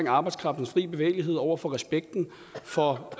arbejdskraftens fri bevægelighed over for respekten for